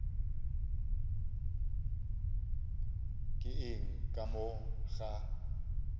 ke eng ka mo ga